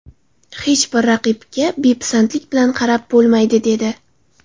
Hech bir raqibga bepisandlik bilan qarab bo‘lmaydi”, dedi .